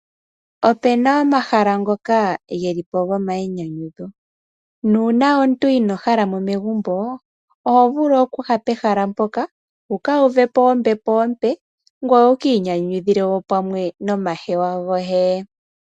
Opuna omahala ngoka gelipo gomainyanyudho . Uuna omuntu inoo halamo megumbo , oho vulu okuya pehala mpoka wuka uvupe ombepo ompe, ngoye wukiinyanyudhile pamwe nomahewa goye.